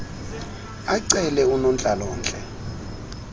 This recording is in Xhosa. acele unontlalo ntle